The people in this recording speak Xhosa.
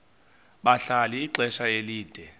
bahlala ixesha elide